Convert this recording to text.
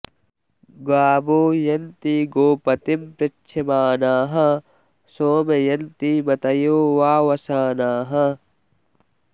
गावो॑ यन्ति॒ गोप॑तिं पृ॒च्छमा॑नाः॒ सोमं॑ यन्ति म॒तयो॑ वावशा॒नाः